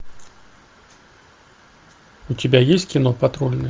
у тебя есть кино патрульный